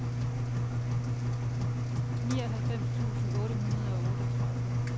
nioghalvfems tusind otte hundrede og otteogtredive